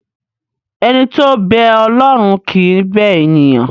Ẹni tó ń bẹ Ọlọ́run kì í bẹ ènìyàn.